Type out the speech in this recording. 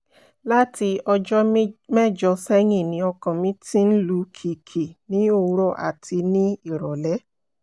láti ọjọ́ mẹ́jọ sẹ́yìn ni ọkàn mi ti ń lù kìkì ní òwúrọ̀ àti ní ìrọ̀lẹ́